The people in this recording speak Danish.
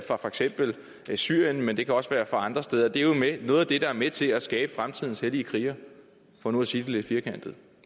fra for eksempel syrien men det kan også være fra andre steder er jo noget af det der er med til at skabe fremtidens hellige krigere for nu at sige det lidt firkantet